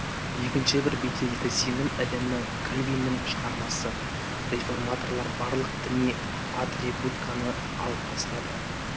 екінші бір беделді сенім ілімі кальвиннің шығармасы реформаторлар барлық діни атрибутиканы алып тастады